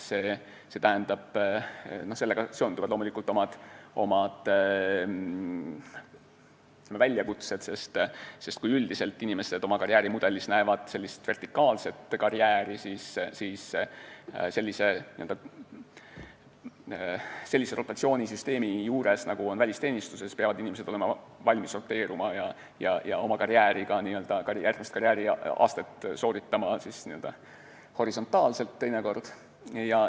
Kui üldiselt näevad inimesed oma karjäärimudelis sellist vertikaalset karjääri, siis sellise rotatsioonisüsteemi juures nagu välisteenistuses peavad nad olema valmis roteeruma ja oma järgmist karjääriastet sooritama teinekord ka n-ö horisontaalselt.